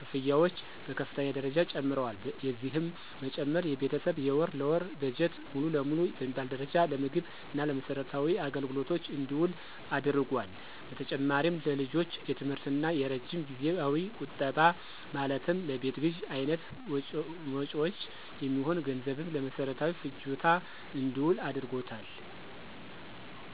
ክፍያዎች በከፍተኛ ደረጃ ጨምረዋል። የዚህም መጨመር የቤተሰብ የወር ለወር በጀት ሙሉ ለሙሉ በሚባል ደረጃ ለምግብ እና ለመሰረታዊ አገልግሎቶች እንዲውል አድርጓታል። በተጨማሪም ለልጆች የትምህርት እና የረጅም ጊዜያዊ ቁጠባ ማለትም ለቤት ግዥ አይነት መጭወች የሚሆን ገንዘብም ለመሰረታዊ ፍጆታ እንዲውል አድርጎታል።